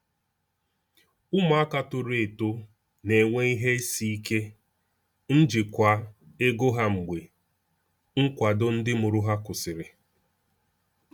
Ụmụaka toro eto na-enwe ihe isi ike n’ijikwa ego ha mgbe nkwado ndị mụrụ ha kwụsịrị.